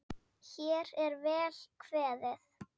Hér er vel kveðið!